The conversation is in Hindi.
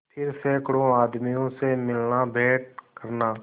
फिर सैकड़ों आदमियों से मिलनाभेंट करना